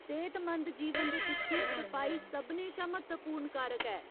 सेह्तमंद जीवन दे पिच्छें सफाई सभनें शा म्हत्तवपूर्ण कारक ऐ।